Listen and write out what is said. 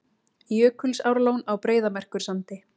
Jökulsárlón á Breiðamerkursandi.